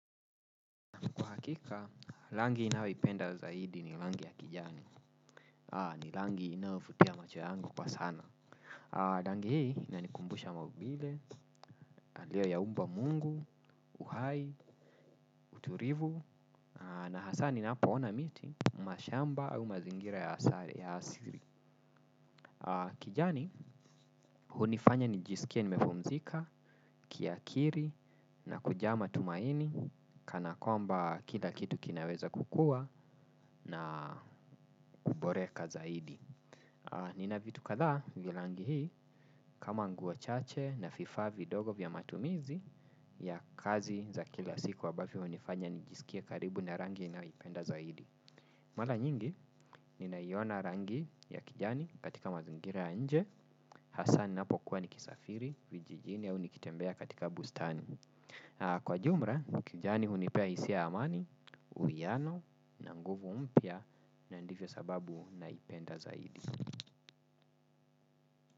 Hakika, rangi ninayo ipenda zaidi ni rangi ya kijani, ni rangi inayovutia macho yangu kwa sana. Rangi hii inanikumbusha maumbile, alio ya umba mungu, uhai, utulivu, na hasa ninapona miti, mashamba, au mazingira ya asili. Kijani, hunifanya nijisikie nimepumzika, kiakili, na kujaa matumaini, kana kwamba kila kitu kinaweza kukuwa, na kuboreka zaidi. Nina vitu kadhaa vya rangi hii kama nguo chache na vifaa vidogo vya matumizi ya kazi za kila siku ambavyo hunifanya nijisikie karibu na rangi ninayo ipenda zaidi. Mara nyingi, ninaiona rangi ya kijani katika mazingira ya nje, hasa ninapo kuwa nikisafiri, vijijini au nikitembea katika bustani. Kwa jumla, kijani hunipea hisia ya amani, uwiano na nguvu mpya na ndivyo sababu naipenda zaidi.